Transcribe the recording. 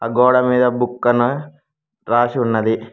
ఆ గోడ మీద బుక్కని రాసి ఉన్నది.